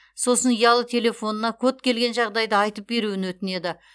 сосын ұялы телефонына код келген жағдайда айтып беруін өтінеді